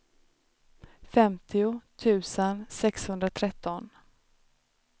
femtio tusen sexhundratretton